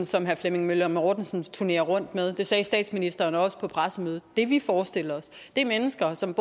som herre flemming møller mortensen turnerer rundt med det sagde statsministeren også på pressemødet det vi forestiller os er mennesker som